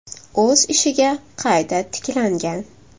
o‘z ishiga qayta tiklangan.